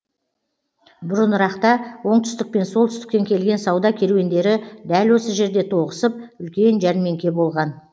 бұрынырақта оңтүстік пен солтүстіктен келген сауда керуендері дәл осы жерде тоғысып үлкен жәрмеңке болған